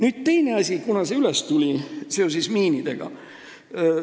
Nüüd teine asi, mis tuli üles seoses miinidega.